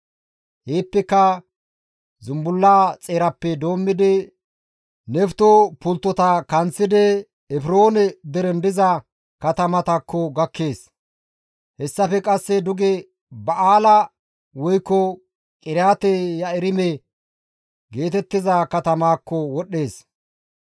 Heeppeka zumbullaa xeerappe doommidi Nefto pulttotara kanththidi Efroone deren diza katamatakko gakkees. Hessafe qasse duge Ba7aala woykko Qiriyaate-Yi7aarime geetettiza katamaakko wodhdhees;